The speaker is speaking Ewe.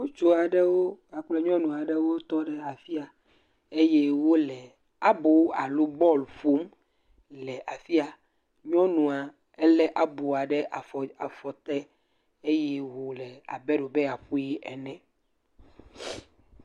Ŋutsu aɖewo kpakple nyɔnu aɖewo tɔ ɖe afi ya eye wole abo alo bɔl ƒom le afi ya. Nyɔnua ele aboa ɖe afɔ afɔ te eye wole abe ɖe wobe yeaƒui ene.